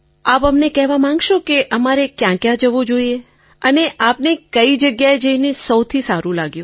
આપ અમને કહેવા માગશો કે અમારે ક્યાં ક્યાં જવું જોઈએ અને આપને કઈ જગ્યાએ જઇને સૌથી સારૂં લાગ્યું